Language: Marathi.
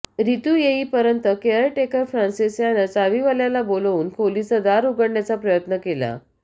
रितू येऊपर्यंत केअर टेकर फ्रान्सिस यानं चावीवाल्याला बोलवून खोलीचं दार उघडण्याचा प्रयत्न केला